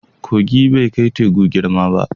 Kogi bai kai teku girma ba.